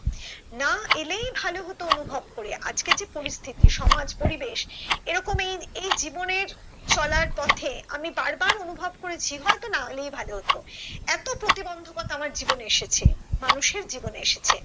না এলে ভালো হতো অনুভব করে আজকে যে পরিস্থিতি সমাজ পরিবেশ এরকমই এই জীবনে চলার পথে আমি বার বার অনুভব করেছি হয়তো না এলেই ভাবলো হতো এতো প্রতিবন্ধকতা আমার জীবনে এসেছে মানুষের জীবনে এসেছে